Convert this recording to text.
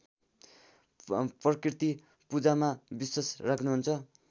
प्रकृतिपूजामा विश्‍वास राख्‍नुहुन्छ